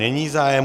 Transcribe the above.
Není zájem.